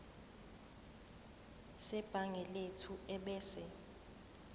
sebhangi lethu ebese